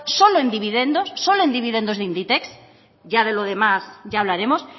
solo en dividendos solo en dividendos de inditex ya de lo demás ya hablaremos